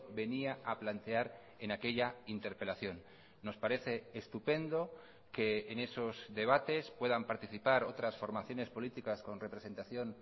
venía a plantear en aquella interpelación nos parece estupendo que en esos debates puedan participar otras formaciones políticas con representación